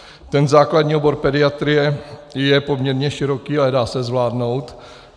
Ten základní obor pediatrie je poměrně široký, ale dá se zvládnout.